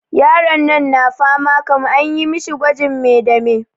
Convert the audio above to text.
Yaron nan na fama kam, anyi mishi gwajin me da me?